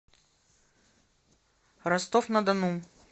ростов на дону